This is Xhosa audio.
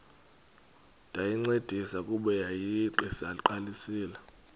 ndayincedisa kuba yayiseyiqalisile